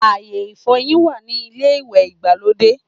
Ayé ìfọyín wà ní ilé ìwẹ̀ ìgbàlódé